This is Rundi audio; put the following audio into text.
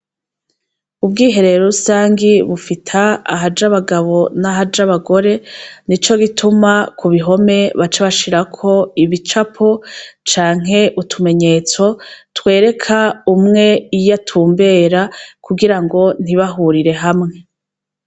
Ubwiherero rusangi bufita ahaja abagabo n'ahaja abagore, nico gituma ku ruhome baca bashirako ibicapo canke utumenyetso twereka umwe iy'atumbera kugira ngo ntibahurire hamwe.